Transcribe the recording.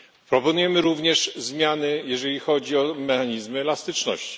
Proponujemy również zmiany, jeżeli chodzi o mechanizm elastyczności.